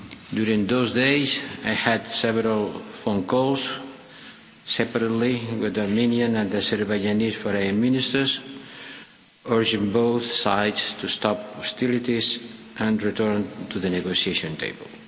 During those days I had several phone calls separately with Armenian and Azerbaijani Foreign Ministers urging both sides to stop hostilities and return to the negotiation table.